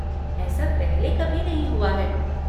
ऐसा पहले कभी नहीं हुआ है।